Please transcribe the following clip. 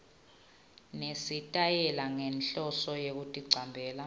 nesitayela ngenhloso yekuticambela